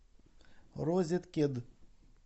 розеткед